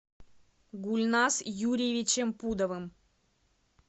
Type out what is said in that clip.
гульназ юрьевичем пудовым